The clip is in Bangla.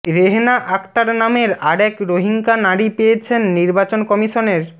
রেহেনা আকতার নামের আরেক রোহিঙ্গা নারী পেয়েছেন নির্বাচন কমিশনের